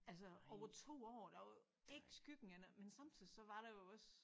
Altså over 2 år der var ikke skyggen af men samtidig så var der jo også